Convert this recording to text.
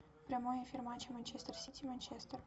прямой эфир матча манчестер сити манчестер